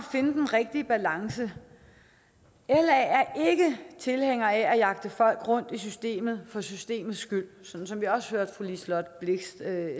finde den rigtige balance la er ikke tilhænger af at jagte folk rundt i systemet for systemets skyld sådan som vi også hørte fru liselott blixt